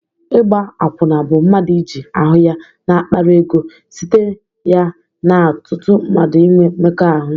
Ịgba akwụna bụ mmadụ iji ahụ ya na-akpara ego site ya na ọtụtụ mmadụ inwe mmekọ ahụ.